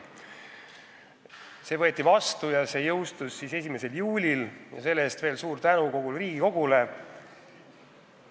See võeti vastu ja seadus jõustus 1. juulil ning selle eest veel kord suur tänu kogu Riigikogule!